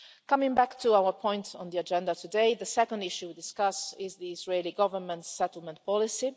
Coming back to our points on the agenda today, the second issue to discuss is the Israeli Government's settlement policy.